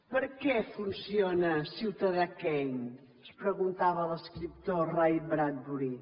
per què funciona ciutadà kane es preguntava l’escriptor ray bradbury